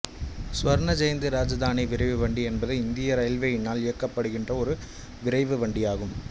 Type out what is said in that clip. சுவர்ண ஜெயந்தி ராஜதானி விரைவுவண்டி என்பது இந்திய இரயில்வேயினால் இயக்கப்படுகின்ற ஒரு விரைவுவண்டி ஆகும்